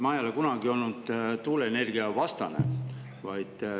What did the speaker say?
Ma ei ole kunagi olnud tuuleenergia vastu.